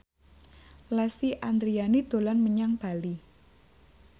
Lesti Andryani dolan menyang Bali